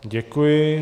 Děkuji.